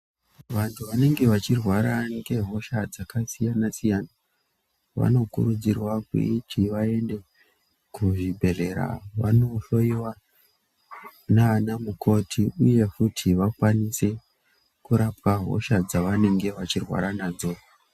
Vantu vanenge vachirwara ngehosha dzakasiyana siyana . Vanokurudzirwa kuti vaende kuzvibhedhlera vanohloiwa ndiana mukoti uye kuti vakwanise kurapiwa hosha dzavanenge vachirwara nadzo.